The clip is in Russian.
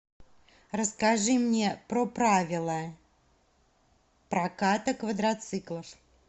расскажи мне про правила проката квадроциклов